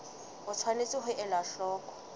o tshwanetse ho ela hloko